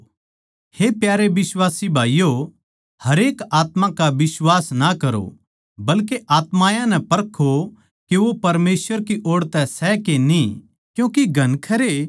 हे प्यारे बिश्वासी भाईयो हरेक आत्मा का बिश्वास ना करो बल्के आत्मायाँ नै परखो के वो परमेसवर की ओड़ तै सै के न्ही क्यूँके घणखरे झूठ्ठे नबी दुनिया म्ह उठ खड़े होए सै